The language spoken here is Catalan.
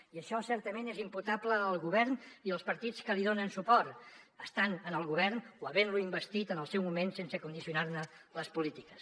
i això certament és imputable al govern i als partits que li donen suport estant en el govern o havent lo investit en el seu moment sense condicionar ne les polítiques